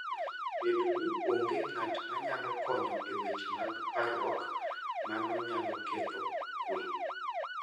Bedo ni onge ng'at manyalo konyo e weche mag parruok, mano nyalo ketho kuwe.